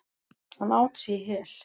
Hann át sig í hel.